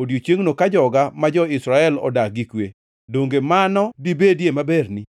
Odiechiengno, ka joga ma jo-Israel odak gi kwe, donge mano dibedie maberni?